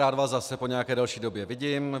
Rád vás zase po nějaké delší době vidím.